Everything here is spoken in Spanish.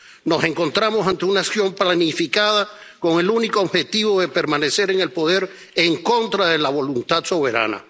Nos encontramos ante una acción planificada con el único objetivo de permanecer en el poder en contra de la voluntad soberana.